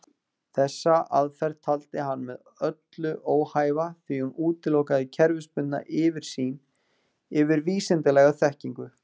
Þessa aðferð taldi hann með öllu óhæfa því hún útilokar kerfisbundna yfirsýn yfir vísindalega þekkingu.